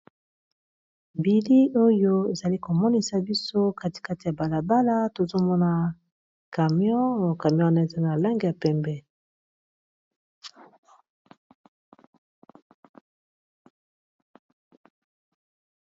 Bilili oyo ezali komonisa biso katikati ya balabala tozomona camion camyon n eza na lange ya pembe